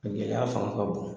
A gɛlɛya fanga ka bon.